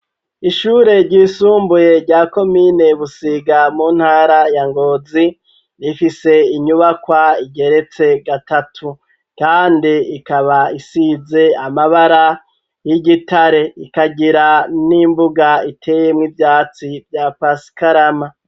Ishure ryisumbuye rya komine busiga mu ntara ya ngozi rifise inyubakwa igeretse gatatu, kandi ikaba isize amabara y'igitare ikagira n'imbuga iteyemwo ivyatsi vya pasikarama.